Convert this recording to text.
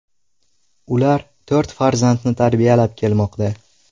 Ular to‘rt farzandni tarbiyalab kelmoqda.